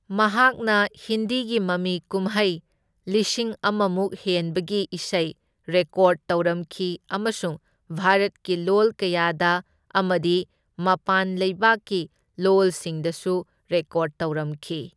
ꯃꯍꯥꯛꯅ ꯍꯤꯟꯗꯤꯒꯤ ꯃꯃꯤꯀꯨꯝꯍꯩ ꯂꯤꯁꯤꯡ ꯑꯃꯃꯨꯛ ꯍꯦꯟꯕꯒꯤ ꯏꯁꯩ ꯔꯦꯀꯣꯔꯗ ꯇꯧꯔꯝꯈꯤ ꯑꯃꯁꯨꯡ ꯚꯥꯔꯠꯀꯤ ꯂꯣꯜ ꯀꯌꯥꯗ ꯑꯃꯗꯤ ꯃꯄꯥꯟ ꯂꯩꯕꯥꯛꯀꯤ ꯂꯣꯜꯁꯤꯡꯗꯁꯨ ꯔꯦꯀꯣꯔꯗ ꯇꯧꯔꯝꯈꯤ꯫